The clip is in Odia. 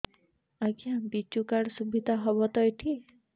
ଆଜ୍ଞା ବିଜୁ କାର୍ଡ ସୁବିଧା ହବ ତ ଏଠି